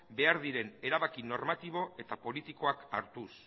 behar diren erabaki normatibo eta politikoak hartuz